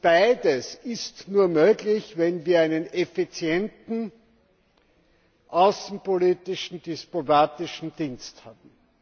Beides ist nur möglich, wenn wir einen effizienten außenpolitischen diplomatischen Dienst haben.